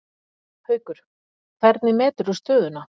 Haukur: Hvernig meturðu stöðuna?